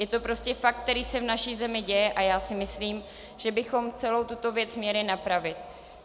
Je to prostě fakt, který se v naší zemi děje, a já si myslím, že bychom celou tuto věc měli napravit.